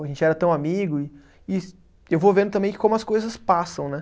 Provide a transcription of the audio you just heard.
A gente era tão amigo e e, e eu vou vendo também como as coisas passam, né?